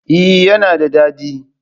Eh yana da dadi.